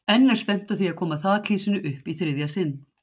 En er stefnt á að koma þakhýsinu upp í þriðja sinn?